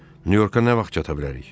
Nyu-Yorka nə vaxt çata bilərik?